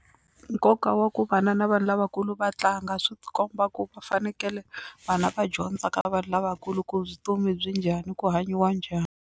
Nkoka wa ku vana na vanhu lavakulu va tlanga swi komba ku va fanekele vana va dyondza ka vanhu lavakulu ku vutomi byi njhani ku hanyiwa njhani.